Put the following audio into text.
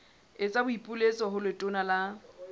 etsa boipiletso ho letona la